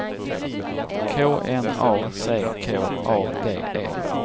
K N A C K A D E